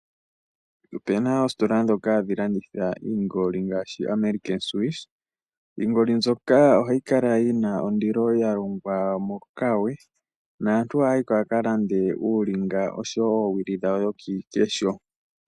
Ope na oositola ndhoka hadhi landitha iingoli ngaashi American Swiss. Iingoli mbyoka ohayi kala yi na ondilo, ya longwa mokawe. Naantu ohaya yi ko ya ka lande uulinga osho wo oowili dhawo dhokiikesho.